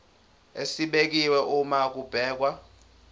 esibekiwe uma kubhekwa